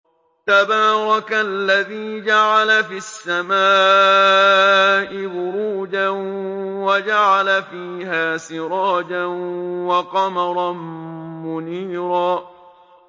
تَبَارَكَ الَّذِي جَعَلَ فِي السَّمَاءِ بُرُوجًا وَجَعَلَ فِيهَا سِرَاجًا وَقَمَرًا مُّنِيرًا